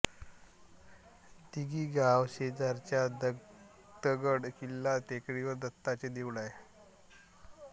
दिघी गावाशेजारच्या दत्तगड किल्ला टेकडीवर दत्ताचे देऊळ आहे